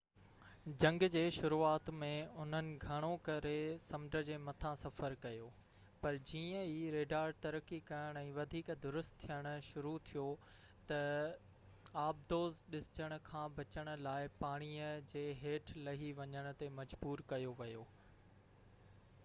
جنگ جي شروعات ۾ انهن گھڻو ڪري سمنڊ جي مٿان سفر ڪيو پر جيئن ئي ريڊار ترقي ڪرڻ ۽ وڌيڪ درست ٿين شروع ٿيو ته آبدوز ڏسجڻ کان بچڻ لاءِ پاڻيءَ جي ھيٺ لھي وڃڻ تي مجبور ڪيو ويو